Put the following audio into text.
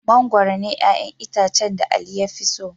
Mangwaro ne 'ƴa'ƴan itacen da Ali ya fi so.